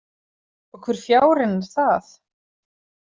Og hvur fjárinn er það?